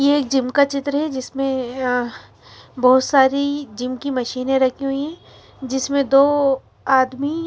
ये एक जिम का चित्र है जिसमें अह बहुत सारी जिम की मशीनें रखी हुई हैं जिसमें दो आदमी--